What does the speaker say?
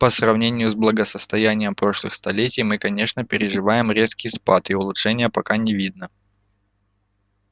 по сравнению с благосостоянием прошлых столетий мы конечно переживаем резкий спад и улучшения пока не видно